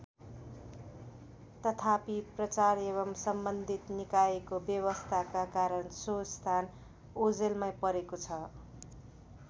तथापि प्रचार एवं सम्बन्धित निकायको बेवास्ताका कारण सो स्थान ओझलमै परेको छ।